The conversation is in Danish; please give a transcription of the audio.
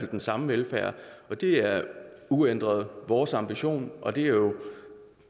den samme velfærd og det er uændret vores ambition og det er jo